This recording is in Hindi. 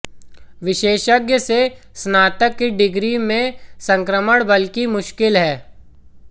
विशेषज्ञ से स्नातक की डिग्री में संक्रमण बल्कि मुश्किल है